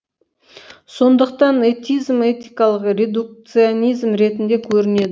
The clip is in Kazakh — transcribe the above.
сондықтан этизм этикалық редукционизм ретінде көрінеді